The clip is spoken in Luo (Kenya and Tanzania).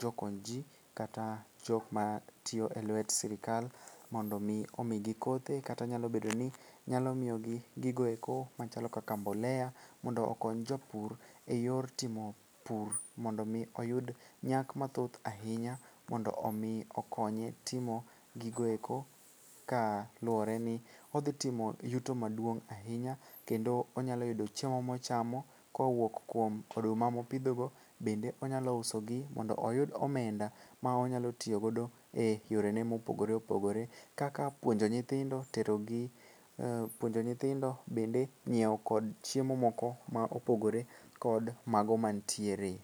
jokony ji kata jokma tiyo e lwet sirikal mondo omi omigi kothe kata nyalo miyogi gigoeko machalo kaka mbolea mondo okony jopur e yor timo pur mondo omi oyud nyak mathoth ahinya mondo omi okonye timo gigoeko kaluwore ni odhitimo yuto maduong' ahinya kendo onyalo yudo chiemo mochamo kowuok kuom oduma mopidhogo bende onyalo usogi mondo oyud omenda ma onyalo tiyogodo e yorene mopogore opogore kaka puonjo nyithindo, bende nyieo kod chiemo moko ma opogore kod mago mantiere.